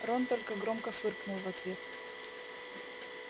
рон только громко фыркнул в ответ